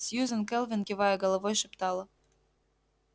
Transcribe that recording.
сьюзен кэлвин кивая головой шептала